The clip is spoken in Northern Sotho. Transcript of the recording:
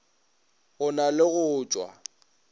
go na le go tšwa